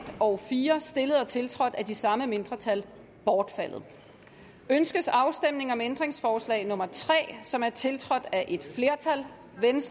og fire stillet og tiltrådt af de samme mindretal bortfaldet ønskes afstemning om ændringsforslag nummer tre som er tiltrådt af et flertal